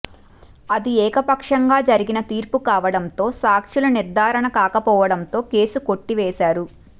అది ఏకపక్షంగా జరిగిన తీర్పు కావడంతో సాక్ష్యాలు నిర్ధారణ కాకపోవడంతో కేసు కొట్టివేశారు